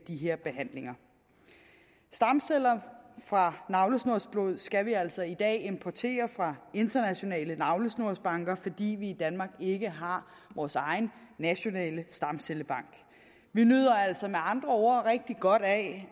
her behandlinger stamceller fra navlesnorsblod skal vi altså i dag importere fra internationale navlesnorsbanker fordi vi i danmark ikke har vores egen nationale stamcellebank vi nyder altså med andre ord rigtig godt af at